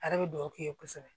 A yɛrɛ bɛ duwawu k'i ye kosɛbɛ